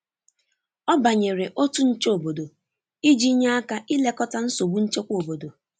ọ banyere otu nche obodo iji nye aka ilekọta nsogbu nchekwa obodo